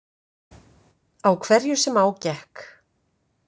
Á hverju sem á gekk.